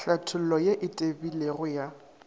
tlhathollo ye e tebilego ya